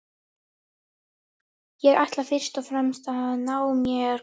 Ég ætla fyrst og fremst að ná mér góðum.